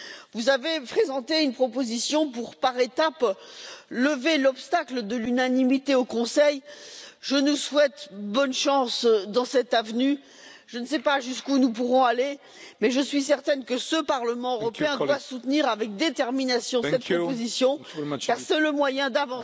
Vous avez présenté une proposition par étapes pour lever l'obstacle de l'unanimité au Conseil. Je nous souhaite bonne chance dans cette voie, je ne sais pas jusqu'où nous pourrons aller mais je suis certaine que ce Parlement européen doit soutenir avec détermination cette opposition, car c'est le moyen d'avancer